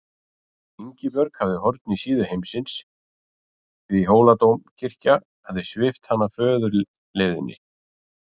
Ingibjörg hafði horn í síðu heimsins því Hóladómkirkja hafði svipt hana föðurleifðinni.